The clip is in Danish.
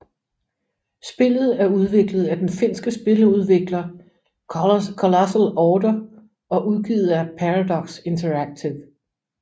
Spillet er udviklet af den finske spiludvikler Colossal Order og udgivet af Paradox Interactive